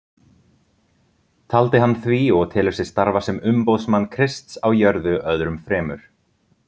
Taldi hann því og telur sig starfa sem umboðsmann Krists á jörðu öðrum fremur.